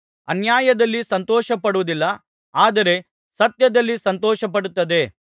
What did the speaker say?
ಅನ್ಯಾಯದಲ್ಲಿ ಸಂತೋಷಪಡುವುದಿಲ್ಲ ಆದರೆ ಸತ್ಯದಲ್ಲಿ ಸಂತೋಷಪಡುತ್ತದೆ